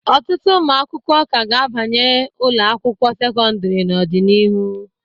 Ọtụtụ ụmụ akwụkwọ ka ga-abanye ụlọ akwụkwọ sekọndịrị n'ọdịnihu.